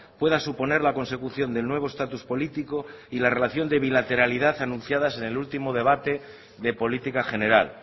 pueda suponer la consecución del nuevo estatus político y la relación de bilateralidad anunciadas en el último debate de política general